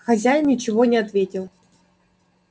хозяин ничего не ответил